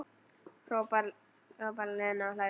Hraðar, hrópar Lena og hlær.